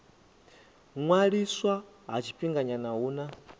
ṅwaliswa ha tshifhinganyana hu na